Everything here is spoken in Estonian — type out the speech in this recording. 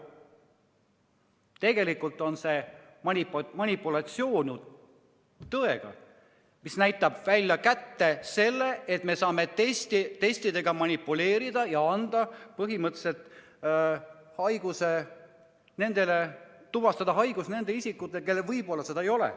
Tegelikult on see tõega manipuleerimine, mis näitab seda, et me saame testidega manipuleerida ja põhimõtteliselt tuvastada haiguse ka nendel isikutel, kellel võib-olla seda ei ole.